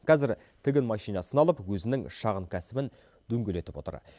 кәзір тігін машинасын алып өзінің шағын кәсібін дөңгелетіп отыр